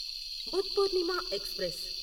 Buddh Purnima express